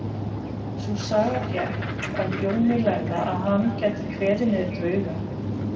Sú saga gekk af Jóni lærða að hann gæti kveðið niður drauga.